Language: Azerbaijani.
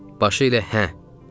Başı ilə hə dedi.